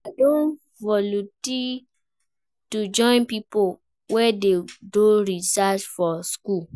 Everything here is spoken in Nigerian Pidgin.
I don volunteer to join pipo wey dey do research for skool.